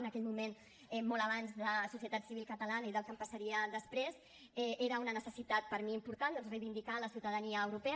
en aquell moment molt abans de societat civil catalana i del que em passaria després era una necessitat per a mi important reivindicar la ciutadania europea